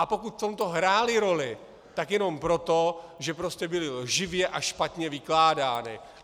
A pokud v tomto hrály roli, tak jenom proto, že prostě byly lživě a špatně vykládány.